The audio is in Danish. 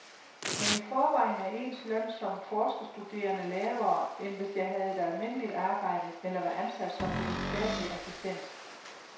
Men i forvejen er ens løn som forskerstuderende lavere, end hvis jeg havde et almindeligt arbejde eller var ansat som videnskabelig assistent.